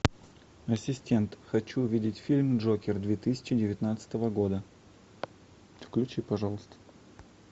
ассистент хочу увидеть фильм джокер две тысячи девятнадцатого года включи пожалуйста